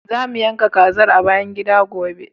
Za mu yanka kazar a bayan gida, gobe.